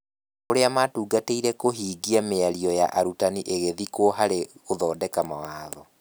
Ũrĩa matungatĩire kũhingia mĩario ya arutani ĩgĩthikwo harĩ gũthondeka mawatho.